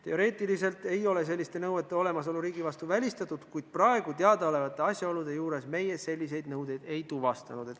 Teoreetiliselt ei ole selliste nõuete olemasolu riigi vastu välistatud, kuid praegu teada olevate asjaolude juures meie selliseid nõudeid ei tuvastanud.